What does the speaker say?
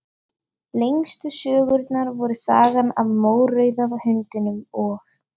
Lengstu sögurnar voru Sagan af mórauða hundinum og